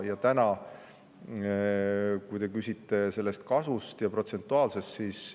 Ja te küsite selle kasvu ja protsentuaalsuse kohta.